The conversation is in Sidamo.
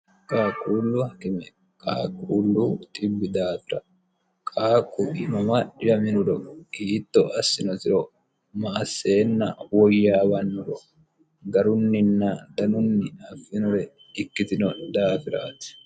qaaquullu hakime qaquullu xibbi daafira qaaqu mama dhiwaminoro hiitto assinosiro ma asseenna woyyaawannoro garunninna danunni affinore ikkitino daafiraati